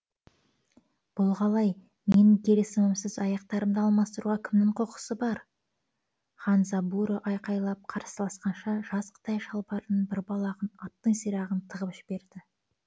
бұл қалай менің келісімімсіз аяқтарымды алмастыруға кімнің құқысы бар хандзабуро айқайлап қарсыласқанша жас қытай шалбарының бір балағына аттың сирағын тығып жіберді